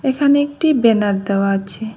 এখানে একটি বেনার দেওয়া আছে।